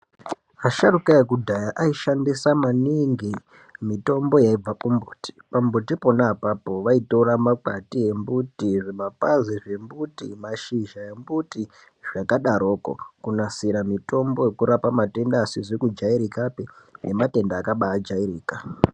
Vasharukwa ekudhaya, ayishandisa maningi mitombo yaibva kumuti, mitombo yakona vayitora makwati emuti, zvimapazi emuti, mashizha emuti zvakadaroko, kunasira mitombo yekurapa matenda asizi kujairika ngematenda akabajairika.